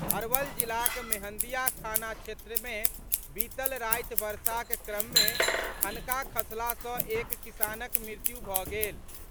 अरवल जिलाक मेहंदिया थाना क्षेत्र मे बीतल राति वर्षाक क्रम मे ठनका खसला सॅ एक किसानक मृत्यु भऽ गेल।